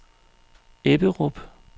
Ebberup